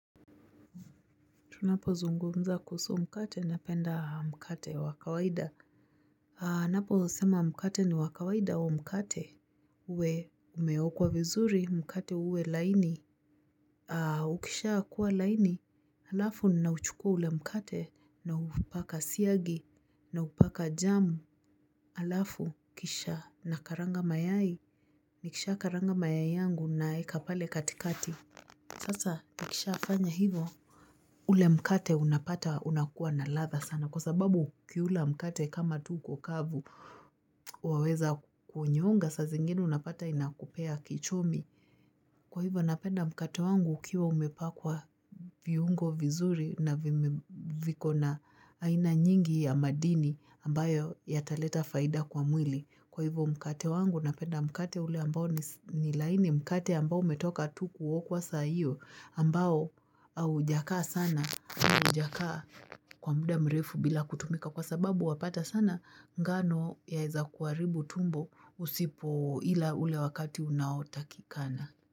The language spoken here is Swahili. Tunapo zungumza kuhusu mkate na penda mkate wa kawaida. Haa napo nasema mkate ni wakawaida huo mkate. Uwe umeo kwa vizuri mkate uwe laini. Haa ukisha kuwa laini. Alafu ni nauchukua ule mkate na upaka siagi na upaka jamu. Alafu kisha na karanga mayai. Ni kisha karanga mayai yangu na ekapale katikati. Sasa ni kisha afanya hivo. Ule mkate unapata unakuwa na latha sana kwa sababu ukiula mkate kama tu uko kavu waweza kunyonga sa zingini unapata inakupea kichomi. Kwa hivyo napenda mkate wangu ukiwa umepakwa viungo vizuri na viko na aina nyingi ya madini ambayo yataleta faida kwa mwili. Kwa hivyo mkate wangu na penda mkate ule ambao ni laini mkate ambao umetoka tu kuokwa saa hio ambao au jakaa sana au jakaa kwa mda mrefu bila kutumika kwa sababu wapata sana ngano yaeza kuharibu tumbo usipo ila ule wakati unaotakikana.